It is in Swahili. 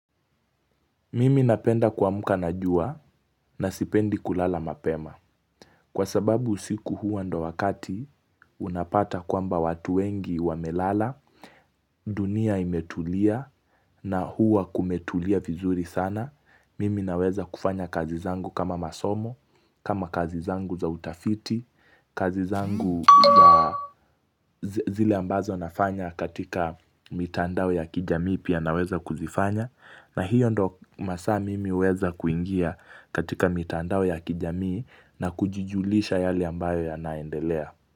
Mimi napenda kamuka najua na sipendi kulala mapema kwa sababu usiku hua ndo wakati unapata kwamba watu wengi wamelala dunia imetulia na hua kumetulia vizuri sana Mimi naweza kufanya kazi zangu kama masomo, kama kazi zangu za utafiti kazi zangu za zile ambazo nafanya katika mitandao ya kijami pia naweza kuzifanya na hiyo ndo masaa mimi huweza kuingia katika mitandao ya kijamii na kujujulisha yale ambayo ya naendelea.